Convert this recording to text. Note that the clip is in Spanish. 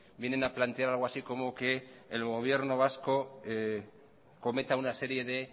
vienen a plantear algo así como que el gobierno vasco cometa una serie de